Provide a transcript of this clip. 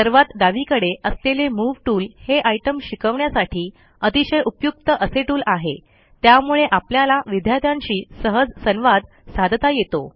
सर्वात डावीकडे असलेले मूव टूल हे आयटम शिकवण्यासाठी अतिशय उपयुक्त असे टूल आहे त्यामुळे आपल्याला विद्यार्थ्यांशी सहज संवाद साधता येतो